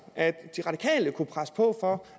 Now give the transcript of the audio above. at de radikale kunne presse på for